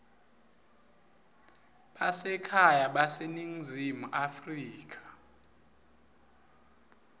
basekhaya baseningizimu afrika